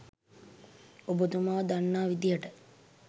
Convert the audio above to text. ඔබතුමා දන්නා විදියට